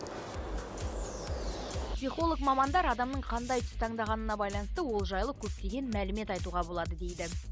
психолог мамандар адамның қандай түс таңдағанына байланысты ол жайлы көптеген мәлімет айтуға болады дейді